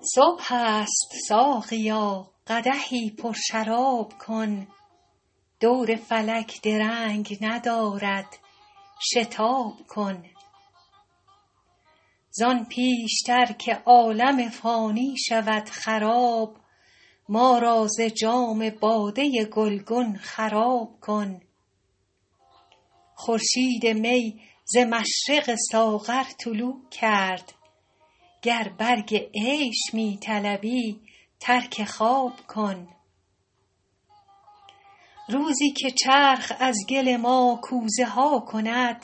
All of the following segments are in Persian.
صبح است ساقیا قدحی پرشراب کن دور فلک درنگ ندارد شتاب کن زان پیش تر که عالم فانی شود خراب ما را ز جام باده گلگون خراب کن خورشید می ز مشرق ساغر طلوع کرد گر برگ عیش می طلبی ترک خواب کن روزی که چرخ از گل ما کوزه ها کند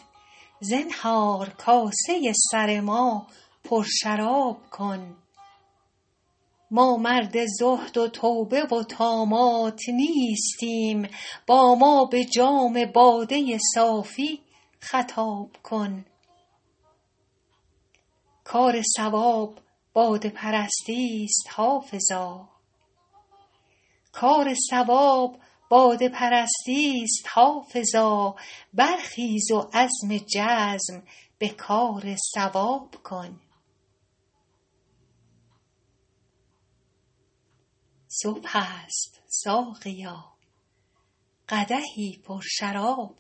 زنهار کاسه سر ما پرشراب کن ما مرد زهد و توبه و طامات نیستیم با ما به جام باده صافی خطاب کن کار صواب باده پرستی ست حافظا برخیز و عزم جزم به کار صواب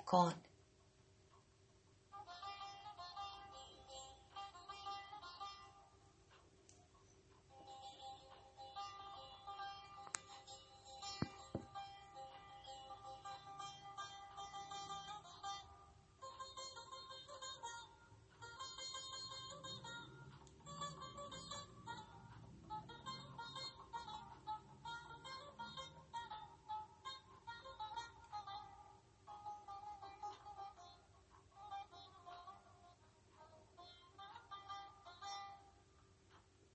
کن